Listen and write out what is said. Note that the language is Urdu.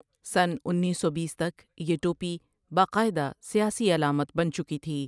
سنہ انیس سو بیس تک یہ ٹوپی باقاعدہ سیاسی علامت بن چکی تھی ۔